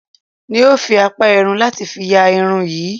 N óo fi àpá irun láti fi ya irun yín